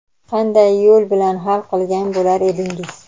qanday yo‘l bilan hal qilgan bo‘lar edingiz?.